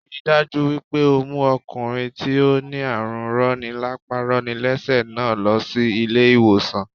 Ríi dájú wípé o mú okùnrin tí ó ní àrùn roni lápá roni lésè náà lo sí ilé ìwòsàn